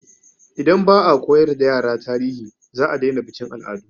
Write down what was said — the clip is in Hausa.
Idan ba a koyar da yara tarihi, za a daina bikin al'adu.